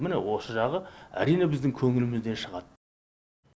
міне осы жағы әрине біздің көңілімізден шығады